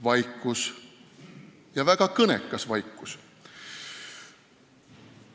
Vaikus, ja väga kõnekas vaikus.